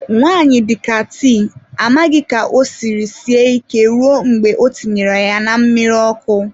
Nwanyi dika tii, amaghi ka o siri sie ike ruo mgbe i tinyere ya na mmiri oku.